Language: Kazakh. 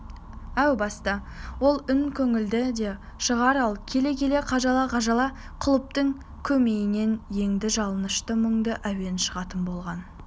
әу баста ол үн көңілді де шығар ал келе-келе қажала-қажала құлыптың көмейінен енді жалынышты мұңды әуен шығатын болған